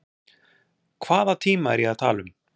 Hvaða tíma er ég að tala um?